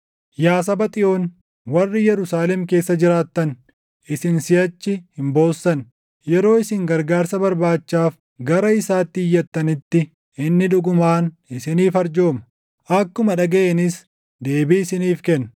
Yaa saba Xiyoon, warri Yerusaalem keessa jiraattan, isin siʼachi hin boossan. Yeroo isin gargaarsa barbaachaaf gara isaatti iyyattanitti inni dhugumaan isiniif arjooma! Akkuma dhagaʼeenis deebii isiniif kenna.